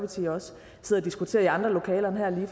tiden også diskuterer i andre lokaler end her i